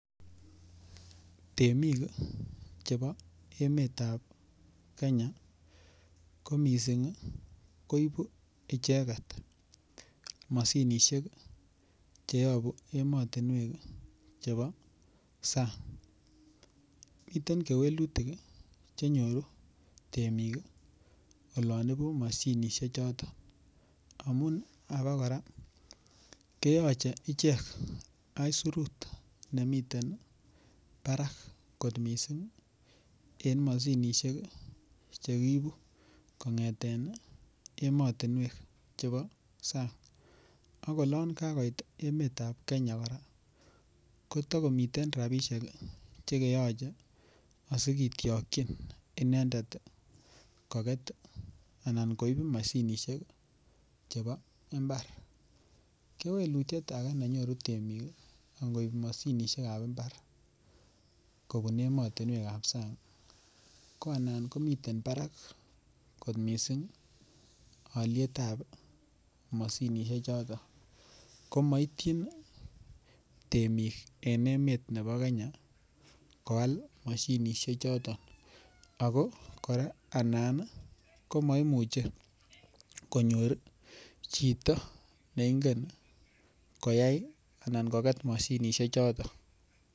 Temik chebo emetab Kenya ko missing' koibu icheket moshinishek cheyobu emotinuek chebo sang, miten kewelutik chenyoru temik olon ibu moshinishechoton amun abokoraa keyoche ichek aisirut nemiten barak kot missing' en moshinishek chekiibu kongeten emotinuek chebo sang ak olon kakait emetab Kenya koraa kotokomiten rabishek chekeyoche asikitwokwin inendet ii koket anan koib moshinishek chebo imbar, kewelutiet ake chenyoru temik angoib moshinishekab imbar kobun emotinuekab sang ko anan komiten barak kot missing' olietab moshinishechoto komoityin temik en emet nebo Kenya koal moshinishechoto ako kora anan komoimuche konyor chito neingen koyai anan koket moshinishechoto.